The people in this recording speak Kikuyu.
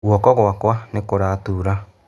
Guoko gwakwa nĩ kũratura.